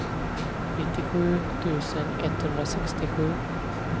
nittiosju tusen etthundrasextiosju